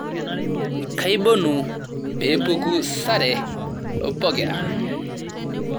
Kaibonu peepuku sare pokira